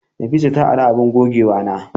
Nafisa ta ari abun gogewana.